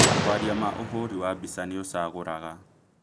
Kwaria ma ũhũri wa mbica nĩũcagũraga